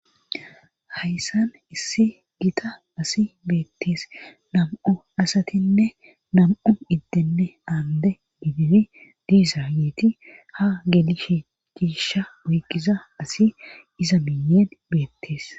hayssan issi gita asi beettees nam7u asatinne nam7u inddinne aande gidid diiza yeeti ha gelishe giisha woygiza asi iza minyen beettees